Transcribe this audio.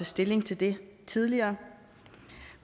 stilling til det tidligere